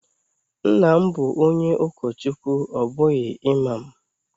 Nna m bu onye ukochukwu o bughi imam.